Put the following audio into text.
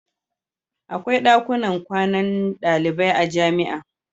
Akwai dakunan kwanan dalibai a jami'a.